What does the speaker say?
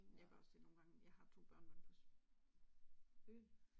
Jeg gør også det nogle gange jeg har to børnebørn på øh